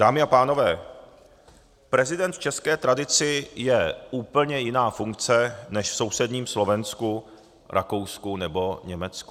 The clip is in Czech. Dámy a pánové, prezident v české tradici je úplně jiná funkce než v sousedním Slovensku, Rakousku nebo Německu.